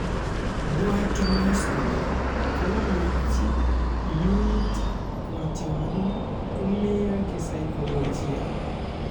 Mwaei Thomas kole kokoibchi niit kotiorik 'komeiyo kisaikolojia"